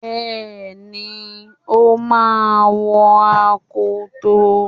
Bẹ́ẹ̀ni, o máa wọ akoto.